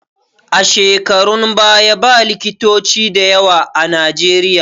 A shekarun baya ba likitoci da yawa a Najeriya